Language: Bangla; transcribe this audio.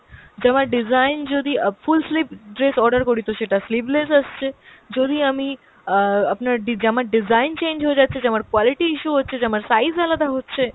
জামার design যদি অ্যাঁ full sleeve dress order করি তো সেটা sleeveless আসছে, যদি আমি অ্যাঁ আপনার ডি~ জামার design change হয়ে যাচ্ছে, জামার quality issue হচ্ছে, জামার size আলাদা হচ্ছে।